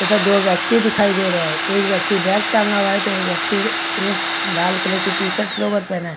तथा दो व्यक्ति दिखाई दे रही रहे है एक व्यक्ति बैग टांगा हुआ है तथा एक व्यक्ति लाल कलर की टी शर्ट और लोअर पहना है।